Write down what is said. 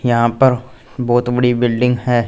यहां पर बहुत बड़ी बिल्डिंग है।